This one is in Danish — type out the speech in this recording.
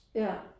Ja